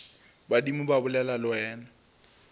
badimo ba bolela le wena